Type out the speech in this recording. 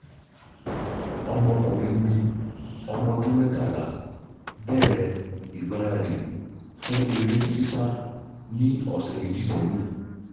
Ọmọkùnrin mi, ọmọ ọdún mẹ́tàlá bẹ̀rẹ̀ ìgbaradì fún eré sísá ní ọ̀sẹ̀ méjì sẹ́yìn